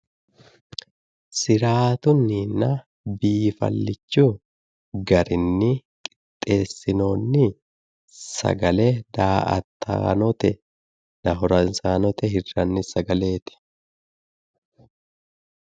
siraatunninna biifallicho garinni qixeessinoonni sagale da"ataanotenna horonsiraanote hirranni sagaleeti